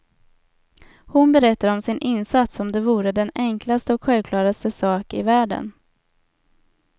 Hon berättar om sin insats som det vore den enklaste och självklaraste sak i världen.